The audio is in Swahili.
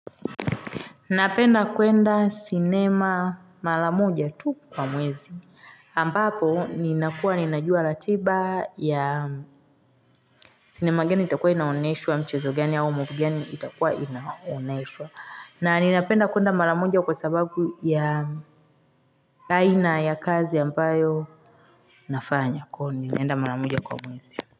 Napenda kwenda sinema mala moja tu kwa mwezi. Ampapo, ninakua ninajua ratiba ya sinema gani itakua inaoneshuwa, mchezo geni au muvigani itakua inaoneshuwa. Na ninapenda kwenda mala moja kwa sababu ya aina ya kazi ambayo nafanya. Kwa ninaenda mara moja kwa mwezi.